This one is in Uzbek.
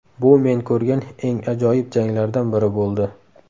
Bu men ko‘rgan eng ajoyib janglardan biri bo‘ldi.